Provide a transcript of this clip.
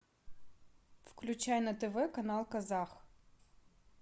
включай на тв канал казах